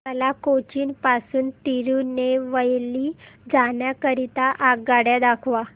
मला कोचीन पासून तिरूनेलवेली जाण्या करीता आगगाड्या दाखवा